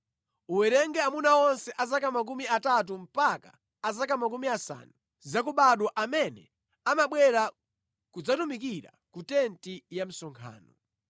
Uwerenge amuna onse a zaka makumi atatu mpaka a zaka makumi asanu zakubadwa amene amabwera kudzatumikira ku tenti ya msonkhano.